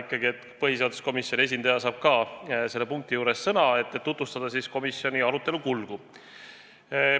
Tore, et põhiseaduskomisjoni esindaja saab ka selle punkti arutamisel sõna, et tutvustada komisjoni arutelu kulgu.